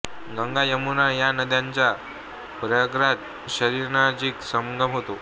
गंगा यमुना या नद्यांचा प्रयागराज शहरानजीक संगम होतो